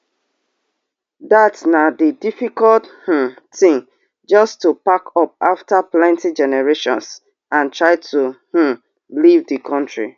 dat na di difficult um tin just to pack up after plenti generations and try to um leave di kontri